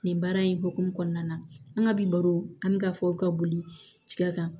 Nin baara in hokumu kɔnɔna na an ka bi baro an bɛ ka fɔ ka boli tiga kan